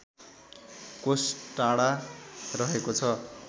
कोष टाढा रहेको छ